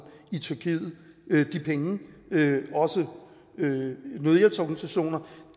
i tyrkiet de penge også nødhjælpsorganisationer